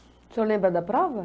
O senhor lembra da prova?